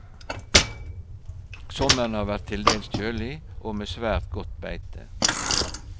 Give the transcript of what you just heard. Sommeren har vært til dels kjølig og med svært godt beite.